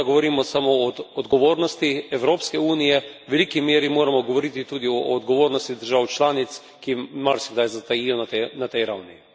Ni potrebno, da govorimo samo o odgovornosti Evropske unije, v veliki meri moramo govoriti tudi o odgovornosti držav članic, ki marsikdaj zatajijo na tej ravni.